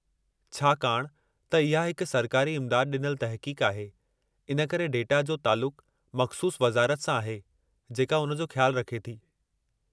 छाकाणि त इहा हिक सरकारी इमदादु डि॒नलु तहक़ीक़ु आहे, इन करे डेटा जो तालुकु मख़सूसु वज़ारत सां आहे जेका उन जो ख़्यालु रखे थी।